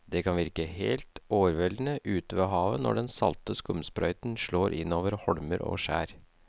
Det kan virke helt overveldende ute ved havet når den salte skumsprøyten slår innover holmer og skjær.